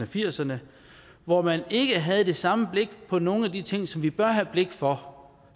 firserne hvor man ikke havde det samme blik på nogle af de ting som vi bør have blik for